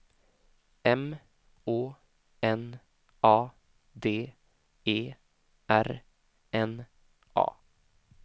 M Å N A D E R N A